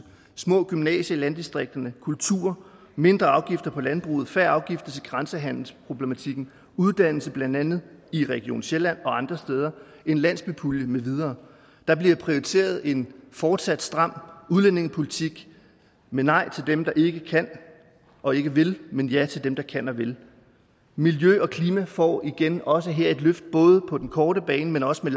små gymnasier i landdistrikterne kultur mindre afgifter på landbruget færre afgifter til grænsehandelsproblematikken uddannelse blandt andet i region sjælland og andre steder og en landsbypulje med videre der bliver prioriteret en fortsat stram udlændingepolitik med nej til dem der ikke kan og ikke vil men ja til dem der kan og vil miljø og klima får igen også her både på den korte bane men også med